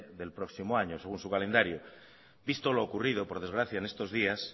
del próximo año según su calendario visto lo ocurrido por desgracia en estos días